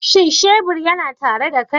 Shin shebur yana tare da kai?